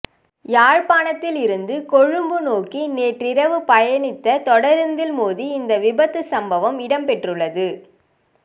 யாழ்ப்பாணத்தில் இருந்து கொழும்பு நோக்கி நேற்றிரவு பயணித்த தொடரூந்தில் மோதி இந்த விபத்துச் சம்பவம் இடம்பெற்றுள்ளது